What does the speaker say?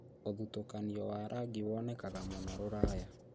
ũthutũkanio wa rangi wonekaga mũno Rũraya